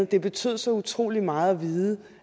det betød så utrolig meget at vide